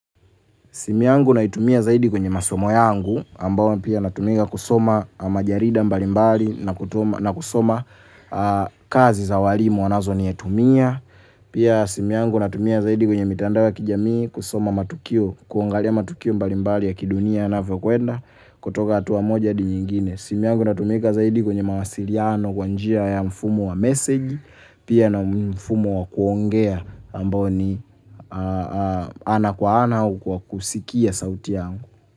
Simu yangu naitumia zaidi kwenye masomo yangu, ambao pia natumia kusoma majarida mbalimbali na kusoma kazi za walimu wanazonitumia. Pia simu yangu natumia zaidi kwenye mitandao ya kijamii kusoma matukio, kuangalia matukio mbalimbali ya kidunia yanavyokwenda kutoka hatua moja hadi nyingine. Simu yangu inatumika zaidi kwenye mawasiliano kwa njia ya mfumo wa meseji pia na ni mfumo wa kuongea ambao ni ana kwa ana au kwa kusikia sauti yangu.